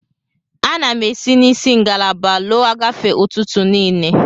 Ana m esi na isi ngalaba lọọ agafe ụtụtụ niile.